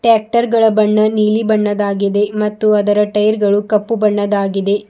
Tractor ಗಳ ಬಣ್ಣ ನೀಲಿ ಬಣ್ಣದಾಗಿದೆ ಮತ್ತು ಅದರ ಟೈರ್ ಗಳು ಕಪ್ಪು ಬಣ್ಣದಾಗಿದೆ.